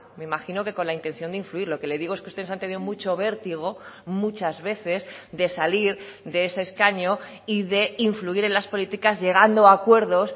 me imagino que con la intención de influir lo que le digo es que ustedes han tenido mucho vértigo muchas veces de salir de ese escaño y de influir en las políticas llegando a acuerdos